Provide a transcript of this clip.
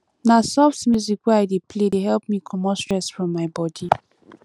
na soft music wey i dey play dey help me comot stress from my bodi